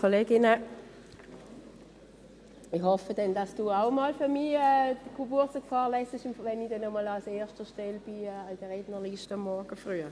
Ich hoffe, dass Sie auch mal für mich Geburtstage vorlesen, wenn ich früh morgens einmal an erster Stelle auf der Rednerliste stehen sollte.